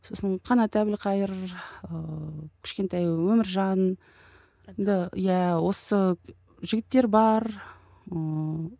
сосын қанат әбілқайыр ыыы кішкентай өміржанды иә осы жігіттер бар ыыы